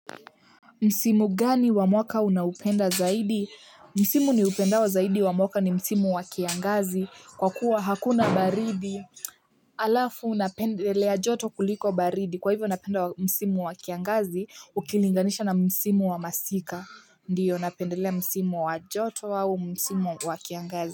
Msimu gani wa mwaka unaupenda zaidi? Msimu ni upendao wa zaidi wa mwaka ni msimu wa kiangazi kwa kuwa hakuna baridi alafu napendelea joto kuliko baridi kwa hivyo napenda msimu wa kiangazi ukilinganisha na msimu wa masika. Ndiyo napendelea msimu wa joto au msimu wa kiangazi.